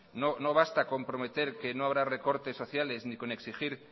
no basta con prometer que no habrá recortes sociales ni con exigir